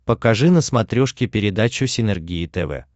покажи на смотрешке передачу синергия тв